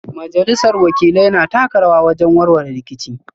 Majalisar Wakilai na taka rawa wajen warware rikici